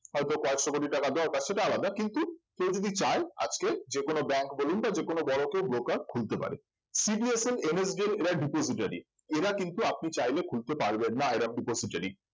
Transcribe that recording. হয়তো কয়েকশ কোটি টাকা দরকার সেটা আলাদা কিন্তু কেউ যদি চায় আজকে যে কোন bank বলুন বা যেকোনো বড় কেউ broker খুলতে পারে CDSL, NSDL এরা depository এরা কিন্তু আপনি চাইলে খুলতে পারবেন না এবং এরা depository